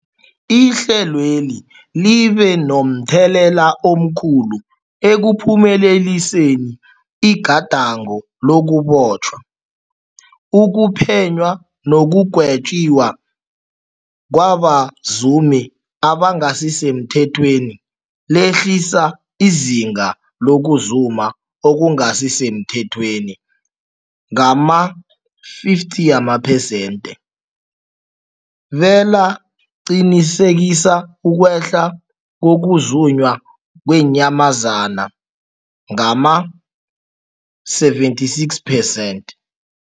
Ihlelweli libe momthelela omkhulu ekuphumeleliseni igadango lokubotjhwa, ukuphenywa nekugwetjweni kwabazumi abangasisemthethweni, lehlisa izinga lokuzuma okungasi semthethweni ngama-50 wamaphesenthe, belaqinisekisa ukwehla kokuzunywa kweenyamazana ngama-76 percent.